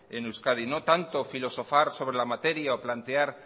en euskadi no tanto filosofar sobre la materia o plantear